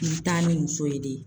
I bi taa ni muso ye de.